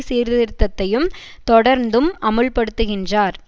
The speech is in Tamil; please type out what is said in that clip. சீர்திருத்தத்தையும் தொடர்ந்தும் அமுல்படுத்துகின்றார்